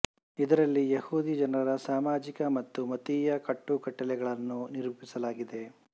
ಇದರಲ್ಲಿ ಯಹೂದಿ ಜನರ ಸಾಮಾಜಿಕ ಮತ್ತು ಮತೀಯ ಕಟ್ಟು ಕಟ್ಟಲೆಗಳನ್ನು ನಿರೂಪಿಸಲಾಗಿದೆ